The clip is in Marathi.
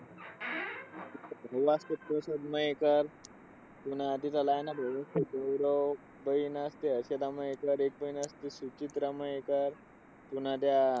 Last episode मयेकर पुन्हा तिच्या लहान बहिणीचा तो hero. बहीण असते हर्षदा मयेकर. एक बहीण असते सुचित्रा मयेकर. पुन्हा त्या